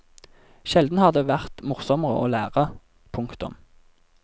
Sjelden har det vært morsommere å lære. punktum